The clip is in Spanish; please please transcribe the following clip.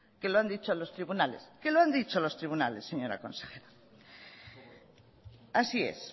que lo han dicho los tribunales que lo han dicho los tribunales señora consejera así es